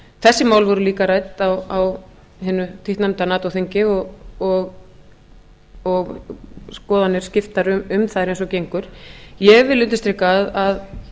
þessi mál voru líka rædd á hinu títtnefnda nato þingi og skoðanir skiptar um þær eins og gengur ég vil undirstrika að